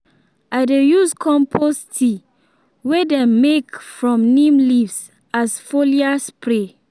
i dey use compost tea wey them make from neem leaves as foliar spray.